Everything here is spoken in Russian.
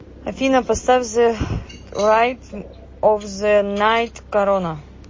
афина поставь зэ райтм оф зэ найт корона